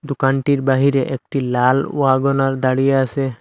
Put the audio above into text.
দোকানটির বাহিরে একটি লাল ওয়াগনার দাঁড়িয়ে আসে।